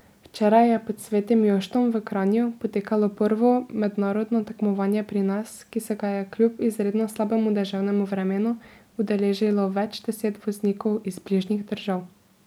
Včeraj je pod Svetim Joštom v Kranju potekalo prvo mednarodno tekmovanje pri nas, ki se ga je kljub izredno slabemu deževnemu vremenu udeležilo več deset voznikov iz bližnjih držav.